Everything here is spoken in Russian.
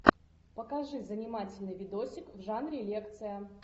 покажи занимательный видосик в жанре лекция